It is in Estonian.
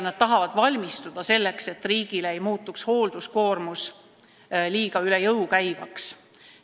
Nad tahavad valmis olla, et hoolduskoormus ei muutuks riigile üle jõu käivaks.